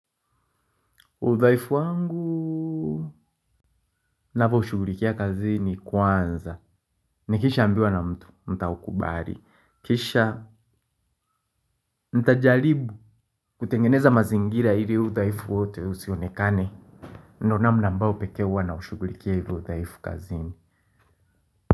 Udhaifu wangu, ninavyoushughulikia kazini kwanza. Nikishaambiwa na mtu, nitaukubali. Kisha nitajaribu kutengeneza mazingira ili udhaifu wote usionekane ndio namna ambayo pekee huwa naushughulikia hivi udhaifu kazini.